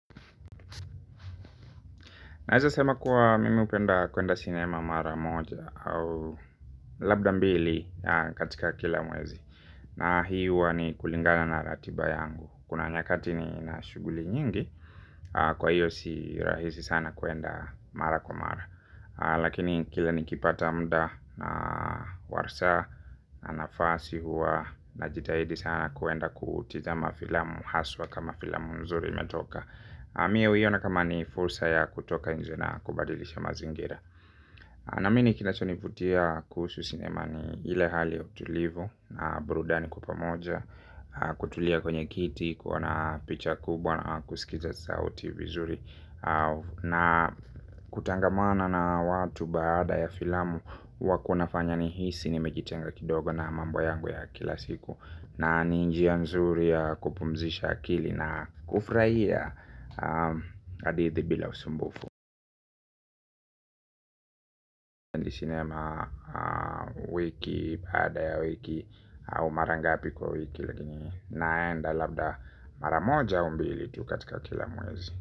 Naeza sema kuwa mimi hupenda kuenda sinema mara moja au labda mbili katika kila mwezi. Na hii huwa ni kulingana na ratiba yangu. Kuna nyakati nina shughuli nyingi kwa hiyo si rahisi sana kuenda mara kwa mara. Lakini kila nikipata mda na warsa na nafasi huwa najitahidi sana kuenda kutizama filamu haswa kama filamu mzuri imetoka. Mie huiona kama ni fursa ya kutoka nje na kubadilisha mazingira. Naamini kinachonivutia kuhusu sinema ni ile hali ya utulivu. Na burudani kwa pamoja kutulia kwenye kiti, kuona picha kubwa na kusikiza sauti vizuri. Na kutangamana na watu baada ya filamu huwa kunafanya nihisi nimejitenga kidogo na mambo yangu ya kila siku. Na ni njia nzuri ya kupumzisha akili na kufraia hadithi bila usumbufu. Ni sinema. Wiki, baada ya wiki au mara ngapi kwa wiki. Lakini naenda labda mara moja au mbili tu katika kila mwezi.